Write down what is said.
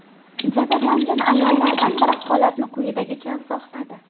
Jabrlangan ayollardan biri holatni quyidagicha izohladi.